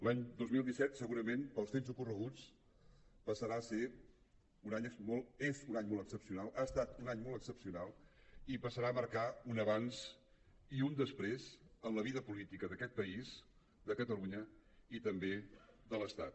l’any dos mil disset segurament pels fets ocorreguts passarà a ser un any és un any molt excepcional ha estat un any molt excepcional i passarà a marcar un abans i un després en la vida política d’aquest país de catalunya i també de l’estat